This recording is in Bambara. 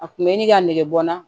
A kun bɛ ni ka negebɔ n na